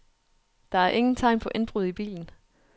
Der er ingen tegn på indbrud i bilen.